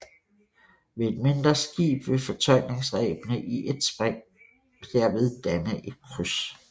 Ved et mindre skib vil fortøjningsrebene i et spring derved danne et kryds